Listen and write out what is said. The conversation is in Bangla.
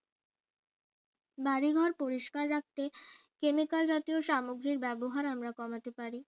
বাড়িঘর পরিষ্কার রাখতে chemical জাতীয় সামগ্রী ব্যবহার আমরা কমাতে পারি